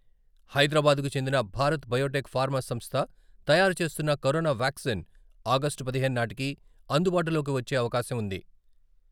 హైదరాబాద్‌కు చెందిన Bharat Biotech pharma సంస్థ తయారు చేస్తున్న కరోనా వ్యాక్సిస్ ఆగస్టు పదిహేను నాటికి అందుబాటులోకి వచ్చే అవకాశం ఉంది.